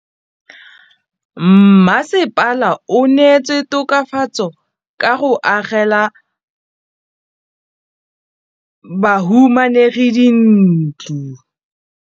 Mmasepala o neetse tokafatsô ka go agela bahumanegi dintlo.